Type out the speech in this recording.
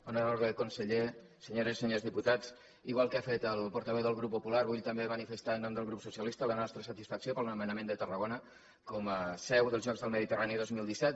honorable conseller senyores i senyors diputats igual que ha fet el portaveu del grup popular vull també manifestar en nom del grup socialista la nostra satisfacció pel nomenament de tarragona com a seu dels jocs del mediterrani dos mil disset